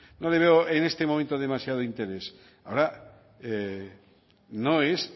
no le veo en este momento demasiado interés ahora no es